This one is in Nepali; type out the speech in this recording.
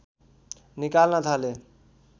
निकाल्न थाले